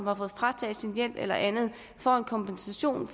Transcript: har fået frataget sit hjem eller andet får en kompensation